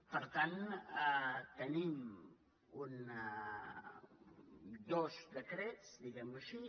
per tant tenim dos decrets diguem ho així